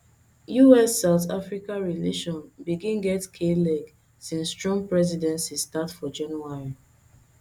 ussouth africa relation begin get kleg since trump presidency start for january